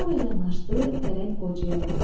Sonra yanaşdı pələng qocaya.